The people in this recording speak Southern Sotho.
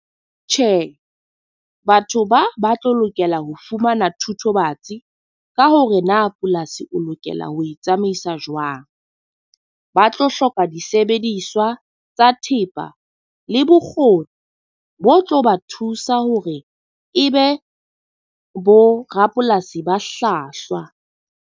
Tjhe, batho ba ba tlo lokela ho fumana thutobatsi ka hore na polasi o lokela ho itsamaisa jwang. Ba tlo hloka di sebediswa tsa thepa le bokgoni bo tlo ba thusa hore e be bo rapolasi ba hlwahlwa.